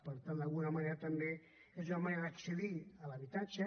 per tant d’alguna manera també és una manera d’accedir a l’habitatge